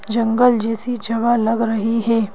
जंगल जैसी जगह लग रही है।